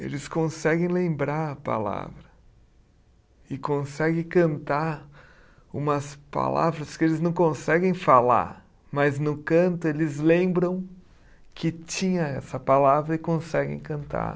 Eles conseguem lembrar a palavra e conseguem cantar umas palavras que eles não conseguem falar, mas no canto eles lembram que tinha essa palavra e conseguem cantar.